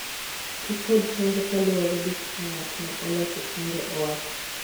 Ti kod chanjo kaluwore gi kaka ng'at ma oloso chanjo owacho.